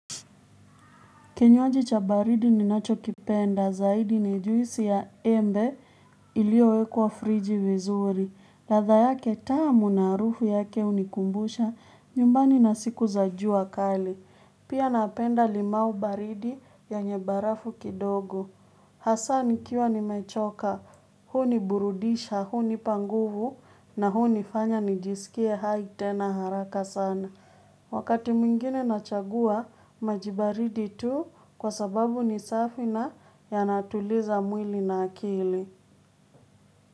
Kinywa jicha baridi ninacho kipenda zaidi nijuisi ya embe iliowekwa friji vezuri. Ladha yake tamu naharufu yake hunikumbusha, nyumbani nasiku za ju akali. Pia napenda limau baridi yenyebarafu kidogo. Hasani kiwa ni mechoka, huu ni burudisha, huu ni panguvu na huu ni fanya nijisikie hai tena haraka sana. Wakati mwingine nachagua majibaridi tu kwa sababu ni safina ya natuliza mwili na akili.